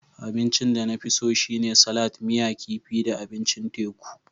Abincin da na fi so shine salat, miya kifi da abincin teku.